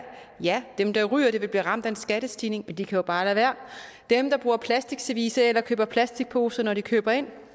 ja dem der ryger vil blive ramt af en skattestigning men de kan jo bare lade være dem der bruger plasticservice eller køber plasticposer når de køber ind